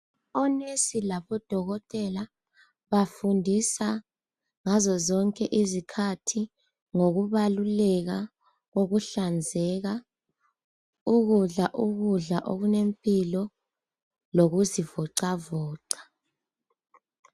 ONesi labo dokotela bafundisa ngazo zonke izikhathi ngokubaluleka kokuhlanzeka, ukudla ukudla okunempilo, lokuzivocavoca.